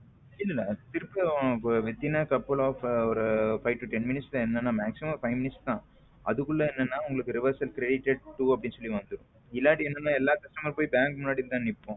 இல்ல இல்ல அது திருப்பியும் couple off ஒரு five to ten minutes தான் maximum ஒரு five minutes தான் அதுக்குள்ள என்னன்னா உங்களுக்க reverse credited to அப்படின்னு சொல்லி வந்துடும் இல்லன்னா எல்லாத்துக்கும் போய் bank முன்னாடி தான் நிற்போம்.